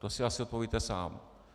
To si asi odpovíte sám.